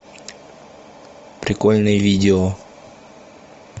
прикольные видео